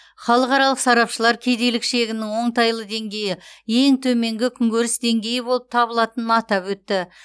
халықаралық сарапшылар кедейлік шегінің оңтайлы деңгейі ең төменгі күнкөріс деңгейі болып табылатынын атап өтті